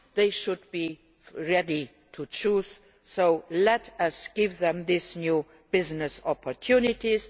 they should be ready to choose. So let us provide these new business opportunities